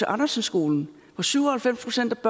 andersen skolen hvor syv og halvfems procent af